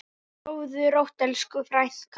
Sofðu rótt elsku frænka.